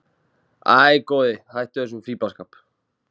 Æ, góði, hættu þessum fíflaskap.